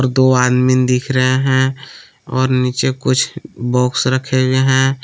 दो आदमीन दिख रहे हैं और नीचे कुछ बॉक्स रखे हुवे हैं।